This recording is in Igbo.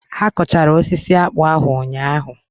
Ha kọchara osisi akpụ ahụ ụnyaahụ?